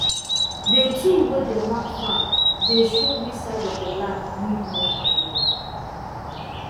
the tool wey dey map farm dey show which side of the land need more manure